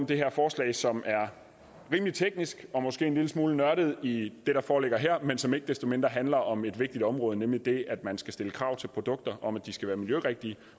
det her forslag som er rimelig teknisk og måske en lille smule nørdet i det der foreligger her men som ikke desto mindre handler om et vigtigt område nemlig det at man skal stille krav til produkter om at de skal være miljørigtige